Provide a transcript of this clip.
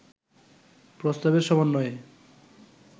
প্রস্তাবের সমন্বয়ে